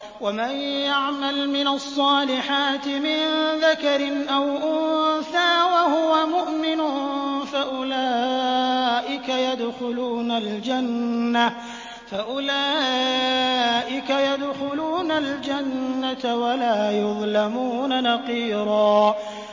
وَمَن يَعْمَلْ مِنَ الصَّالِحَاتِ مِن ذَكَرٍ أَوْ أُنثَىٰ وَهُوَ مُؤْمِنٌ فَأُولَٰئِكَ يَدْخُلُونَ الْجَنَّةَ وَلَا يُظْلَمُونَ نَقِيرًا